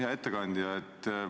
Hea ettekandja!